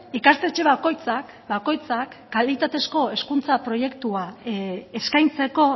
ikastetxe bakoitzak bakoitzak kalitatezko hezkuntza proiektua eskaintzeko